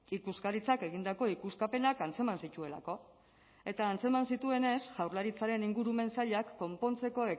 ikuskaritzak egindako ikuskapenak antzeman zituelako eta antzeman zituenez jaurlaritzaren ingurumen sailak konpontzeko